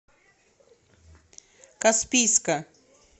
каспийска